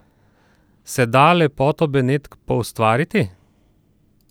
Se da lepoto Benetk poustvariti?